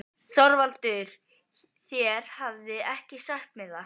ÞORVALDUR: Þér hafið ekki sagt mér það.